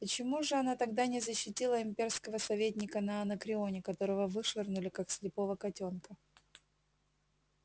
почему же она тогда не защитила имперского советника на анакреоне которого вышвырнули как слепого котёнка